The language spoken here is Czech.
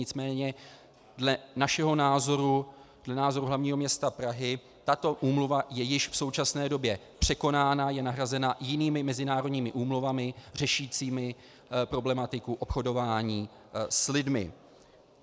Nicméně dle našeho názoru, dle názoru hlavního města Prahy, tato úmluva je již v současné době překonána, je nahrazena jinými mezinárodními úmluvami řešícími problematiku obchodování s lidmi.